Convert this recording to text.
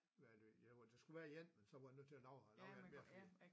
Hvad er det der skulle være én men så var de nødt til at lave lave en mere fordi